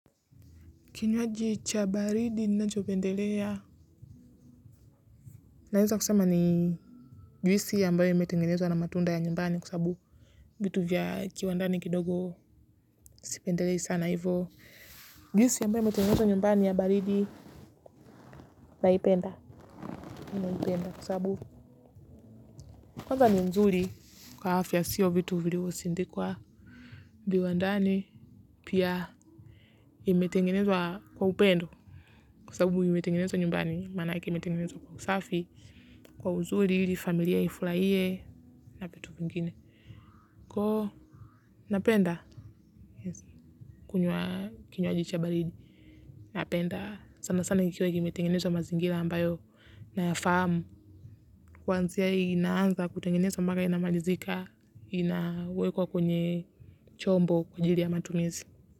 Kinywaji cha baridi ninachopendelea. Naweza kusema ni juisi ambayo imetengenezwa na matunda ya nyumbani kwasabu. Vitu vya kiwandani kidogo si pendelea sana hivyo. Juisi ambayo imetengenezwa nyumbani ya baridi na ipenda kwasababu. Kwanza ni nzuri kwa afya siyo vitu vilivyosindikwa viwandani pia imetengenezwa kwa upendo. Kwasababu imetengenezwa nyumbani maana yake imetengenezwa kwa kusafi. Kwa uzuri ili, familia ifurahie na vitu vingine. Kwahiyo napenda, kunywa kinywaji cha baridi, napenda. Sana sana nikiwa kime tengenezwa mazingira ambayo nayafahamu. Kuanzia inaanza kutengenezwa mpaka inamalizika, inawekwa kwenye chombo kwa jili ya matumizi.